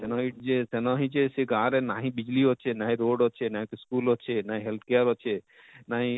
ସେନ ହେଇଛି ଯେ ସେନ ହେଇଛେ ସେ ଗାଁ ରେ ନାହିଁ ବିଜଲୀ ଅଛେ ନାହିଁ ରୋଡ ଅଛେ ନାହିଁ school ଅଛେ ନା help care ଅଛେ ନାହିଁ,